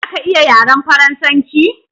Zaka iya yaran farasance.